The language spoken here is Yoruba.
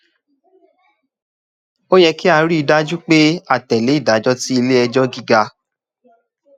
ó yẹ kí a rí i dájú pé a tẹ̀ lé ìdájọ́ tí ilé ẹjọ́ gíga